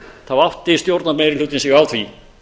þá átti stjórnarmeirihlutinn sig á því